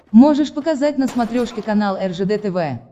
можешь показать на смотрешке канал ржд тв